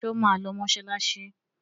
Ṣé ó máa lọ mọṣáláṣí?